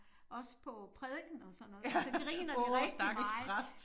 Også på prædiken og sådan noget og så griner vi rigtig meget